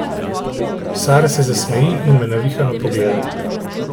Sara se zasmeji in me navihano pogleda.